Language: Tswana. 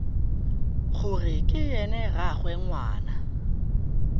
gore ke ena rraagwe ngwana